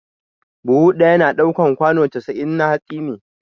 Buhu ɗaya na ɗaukan kwano casa'in na hatsi ne